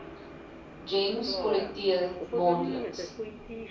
gems kollekteer maandeliks